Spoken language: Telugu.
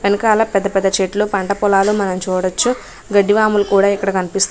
వెనకాల పెద్ద పెద్ద చెట్లు పంట పొలాలు మనం చూడొచ్చు. గడ్డివాములు కూడా ఇక్కడ కనిపిస్తు--